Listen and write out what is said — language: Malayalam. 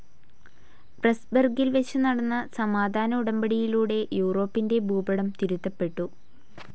പ്രെസ്‌ബർഗിൽ വെച്ചു നടന്ന സമാധാന ഉടമ്പടിയിലൂടെ യൂറോപ്പിൻ്റെ ഭൂപടം തിരുത്തപെട്ടു.